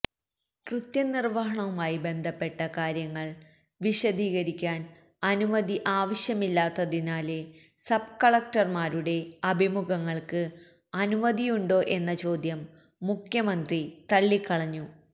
കൃത്യനിര്വഹണവുമായി ബന്ധപ്പെട്ട കാര്യങ്ങള് വിശദികരിക്കാന് അനുമതി ആവശ്യമില്ലാത്തതിനാല് സബ്കളക്ടര്മാരുടെ അഭിമുഖങ്ങള്ക്ക് അനുമതിയുണ്ടോ എന്ന ചോദ്യം മുഖ്യമന്ത്രി തളളിക്കളഞ്ഞു